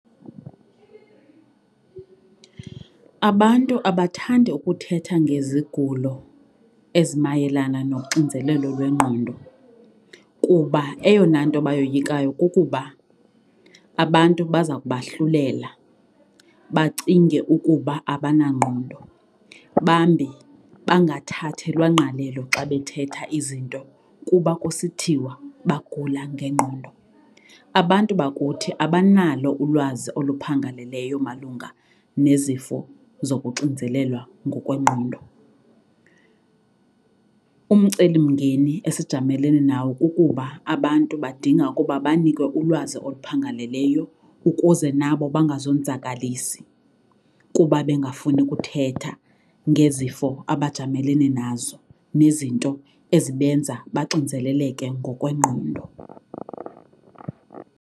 Abantu abathandi ukuthetha ngezigulo ezi mayelana noxinzelelo lwengqondo kuba eyona nto bayoyikayo kukuba abantu baza kubahlulela bacinge ukuba abanangqondo. Bambi bangathathelwa ngqalelo xa bethetha izinto kuba kusithiwa bagula ngengqondo. Abantu bakuthi abanalo ulwazi oluphangaleleyo malunga nezifo zokuxinzelelwa ngokwengqondo. Umceli mngeni esijamelene nawo kukuba abantu badinga ukuba banikwe ulwazi oluphangaleleyo ukuze nabo bangazonzakalisi kuba bengafuni ukuthetha ngezifo abajamelene nazo nezinto ezibenza baxinzeleleke ngokwengqondo.